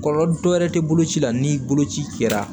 Kɔlɔlɔ dɔɛrɛ tɛ bolo ci la ni boloci kɛra